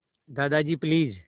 Dadaji please